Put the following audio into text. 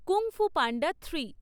কুং Fu Panda three